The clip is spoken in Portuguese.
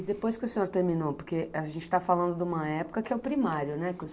E depois que o senhor terminou, porque a gente tá falando de uma época que é o primário, né?